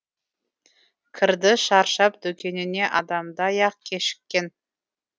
кірді шаршап дүкеніне адамдай ақ кешіккен